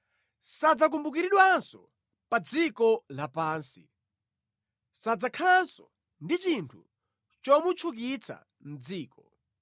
Sadzakumbukiridwanso pa dziko lapansi; sadzakhalanso ndi chinthu chomutchukitsa mʼdziko.